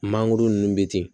Mangoro nun bɛ ten